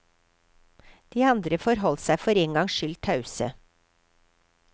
De andre forholdt seg for én gangs skyld tause.